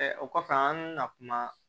o kɔfɛ an bɛna kuma